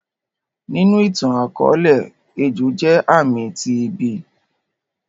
Ninu ìtan-akọọlẹ, ejo jẹ aami ti ibi.